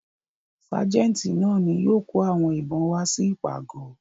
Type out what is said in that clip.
Ságẹ́ńtì náà ni yóò kó àwọn ìbọn wá sí ìpàgọ̀.